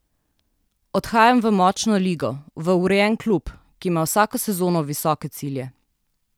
Odhajam v močno ligo, v urejen klub, ki ima vsako sezono visoke cilje.